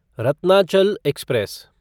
Ratnachal express